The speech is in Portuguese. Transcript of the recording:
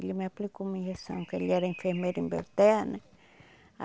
Ele me aplicou uma injeção, que ele era enfermeiro em Belterra né.